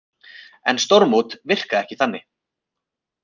En stórmót virka ekki þanni